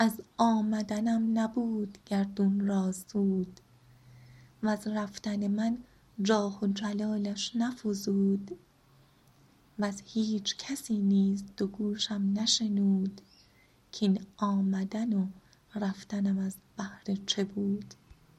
از آمدنم نبود گردون را سود وز رفتن من جاه و جلالش نفزود وز هیچ کسی نیز دو گوشم نشنود کاین آمدن و رفتنم از بهر چه بود